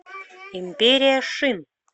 империя шин